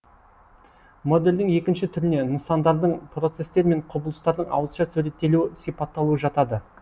модельдің екінші түріне нысандардың процестер мен құбылыстардың ауызша суреттелуі сипатталуы жатады